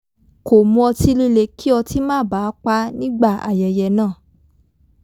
kò mu ọtí líle kí ọtí má baà pá nígbà aye̩ye̩ náà